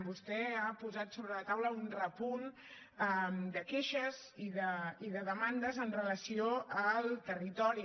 vostè ha posat sobre la taula un repunt de queixes i de demandes amb relació al territori